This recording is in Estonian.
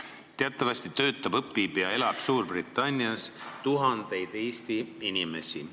Teatavasti töötab, õpib ja elab Suurbritannias tuhandeid Eesti inimesi.